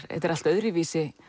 allt öðruvísi